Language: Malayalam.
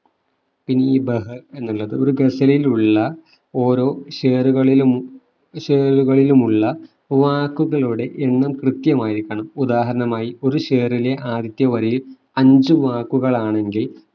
ഇനി ബഹ എന്നുള്ളത് ഒരു ഗസലിലുള്ള ഓരോ ഷേറുകളിലും ഷേറുകളിലുമുള്ള വാക്കുകളുടെ എണ്ണം കൃത്യമായിരിക്കണം ഉദാഹരണമായി ഒരു ഷെറിലെ ആദ്യത്തെ വരിയിൽ അഞ്ചു വാക്കുകൾ ആണെങ്കിൽ